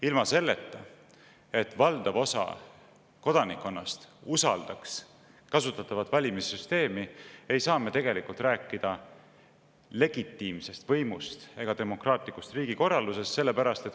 Ilma selleta, et valdav osa kodanikkonnast usaldaks kasutatavat valimissüsteemi, ei saa me tegelikult rääkida legitiimsest võimust ega demokraatlikust riigikorraldusest.